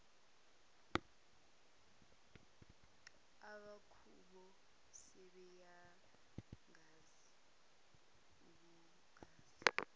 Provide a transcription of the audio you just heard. abakubo sebeyangazi akuzange